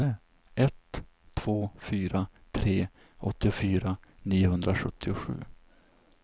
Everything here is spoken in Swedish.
ett två fyra tre åttiofyra niohundrasjuttiosju